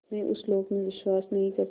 मैं उस लोक में विश्वास नहीं करता